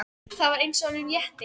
Það var eins og honum létti.